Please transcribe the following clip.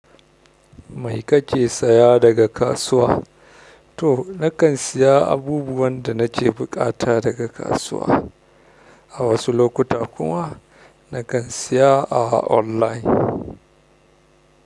Mai kake saya daga kasuwa? To nakan siya abubuwan da nake buƙata daga kasuwa, a wasu lokuta kuma nakan siya a online.